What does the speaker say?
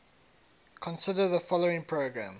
consider the following program